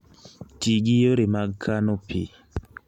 Ti gi yore mag kano pi